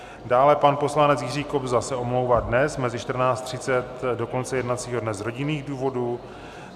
Dále pan poslanec Jiří Kobza se omlouvá dnes od 14.30 do konce jednacího dne z rodinných důvodů.